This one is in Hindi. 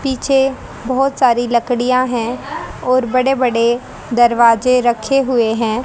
पीछे बहोत सारी लकड़ियां है और बड़े बड़े दरवाजे रखे हुए हैं।